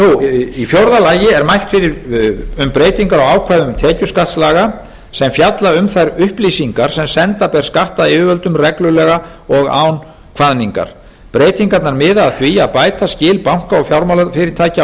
í fjórða lagi er mælt fyrir um breytingar á ákvæði tekjuskattslaga sem fjalla um þær upplýsingar sem senda ber skattyfirvöldum reglulega og án kvaðningar breytingarnar miða að því að bæta skil banka og fjármálafyrirtækja á